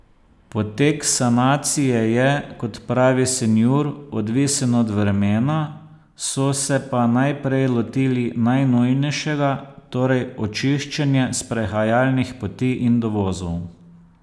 Potek sanacije je, kot pravi Sinjur, odvisen od vremena, so se pa najprej lotili najnujnejšega, torej očiščenja sprehajalnih poti in dovozov.